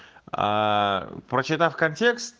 аа прочитав контекст